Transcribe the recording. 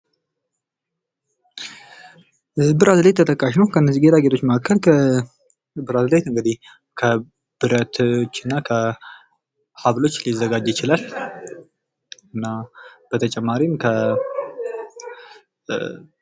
ብራስሌት ተጠቃሽ ነው። ከነዚህ ጌጣጌጦች መካከል ብራስሌት እንግዲህ ከብረቶች እና ከሀብሎች ሊዘጋጅ ይችላል። እና በተጨማሪም ከ